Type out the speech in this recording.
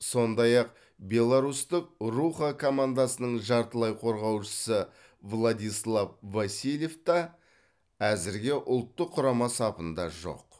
сондай ақ беларусьтық руха командасының жартылай қорғаушысы владислав васильев та әзірге ұлттық құрама сапында жоқ